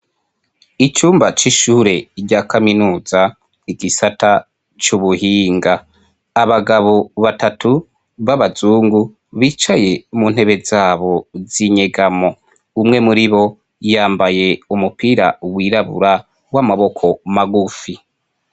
Icumba cy'ishure rya kaminuza igisata cy'ubuhinga, abagabo batatu b'abazungu bicaye mu ntebe zabo zinyegamo, umwe muri bo yambaye umupira w'irabura, w'amaboko magufi.